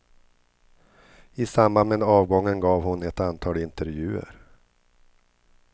I samband med avgången gav hon ett antal intervjuer.